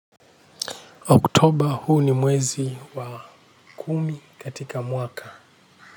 Oktoba huu ni mwezi wa kumi katika mwaka.